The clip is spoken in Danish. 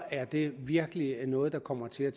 er det virkelig noget der kommer til at